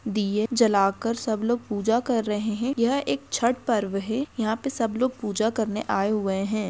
दियें जलाकर सब लोग पूजा कर रहे हैं यह एक छठ पर्व है यहाँ पे सब लोग पूजा करने आए हुए हैं।